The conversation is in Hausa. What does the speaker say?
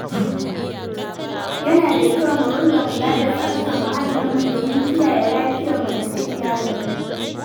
Yana da kyau mu ringa kula da tsaftar muhallinmu domin kiyaye lafiyarmu da ta iyalanmu.